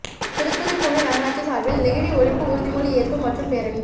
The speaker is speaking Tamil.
திருத்துறைப்பூண்டி நகராட்சி சாா்பில் நெகிழி ஒழிப்பு உறுதிமொழி ஏற்பு மற்றும் பேரணி